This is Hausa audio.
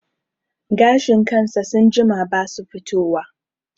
Gashin kansa sun jima basu fito wa